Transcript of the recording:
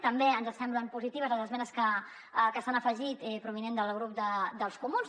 també ens semblen positives les esmenes que s’hi han afegit provinents del grup dels comuns